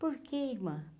Por que, irmã?